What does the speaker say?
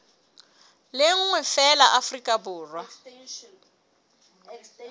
le nngwe feela afrika borwa